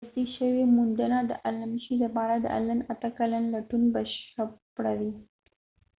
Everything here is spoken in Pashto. که تصدیق شوی وي موندنه د المشي لپاره د الن اته کلن لټون بشپړوي